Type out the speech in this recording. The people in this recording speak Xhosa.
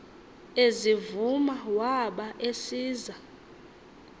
ezivuma waba esiza